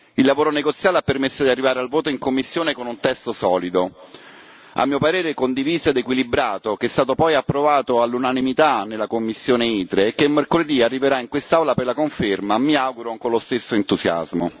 Il lavoro negoziale ha permesso di arrivare al voto in commissione con un testo solido, a mio parere condiviso ed equilibrato, che è stato poi approvato all'unanimità nella commissione ITRE e che mercoledì arriverà in quest'aula per la conferma, mi auguro, con lo stesso entusiasmo.